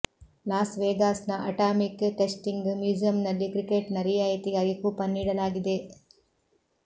loss ವೆಗಾಸ್ನ atomic testing ಮ್ಯೂಸಿಯಂನಲ್ಲಿ ಟಿಕೆಟ್ನ ರಿಯಾಯಿತಿಗಾಗಿ ಕೂಪನ್ ನೀಡಲಾಗಿದೆ